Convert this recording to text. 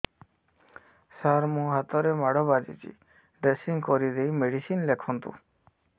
ସାର ମୋ ହାତରେ ମାଡ଼ ବାଜିଛି ଡ୍ରେସିଂ କରିଦେଇ ମେଡିସିନ ଲେଖନ୍ତୁ